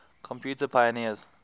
computer pioneers